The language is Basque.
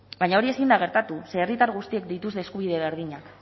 baina hori ezin da gertatu ze herritar guztiek dituzte eskubide berdinak